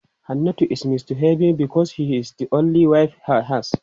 Hannatu is misbehaving because she is the only wive he has.